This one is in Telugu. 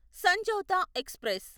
సంజౌతా ఎక్స్ప్రెస్